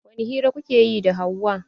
Wani hira kuke yi da Hauwa?